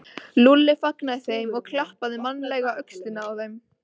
Lúlli fagnaði þeim og klappaði mannalega á öxlina á þeim.